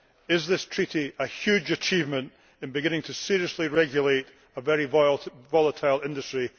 Is this Treaty a huge achievement in beginning to seriously regulate a very volatile industry?